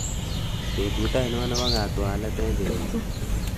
betut ainon nepo katwalet en kenyini